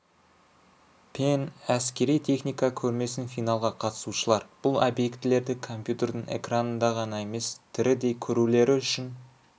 пен әскери техника көрмесін финалға қатысушылар бұл объектілерді компьютердің экранында ғана емес тірідей көрулері үшін